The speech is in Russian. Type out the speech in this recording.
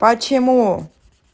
почему